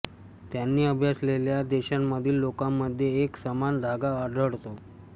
त्यांनी अभ्यासलेल्या देशांमधील लोकांमध्ये एक समान धागा आढळतो